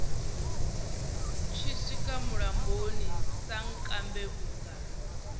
tshi swika mulamboni sankambe vhunga